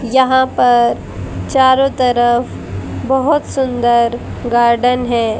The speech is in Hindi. यहां पर चारों तरफ बहोत सुंदर गार्डन है।